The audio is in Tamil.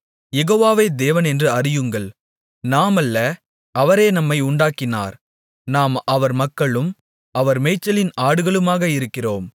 யெகோவாவே தேவனென்று அறியுங்கள் நாம் அல்ல அவரே நம்மை உண்டாக்கினார் நாம் அவர் மக்களும் அவர் மேய்ச்சலின் ஆடுகளுமாக இருக்கிறோம்